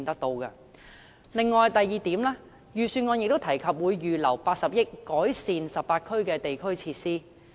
第二點是，預算案提及會預留80億元以改善18區的地區設施。